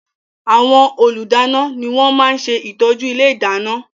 Àwọn Olùdáná ni wọ́n máa ṣe ìtọ́jú ilé ìdáná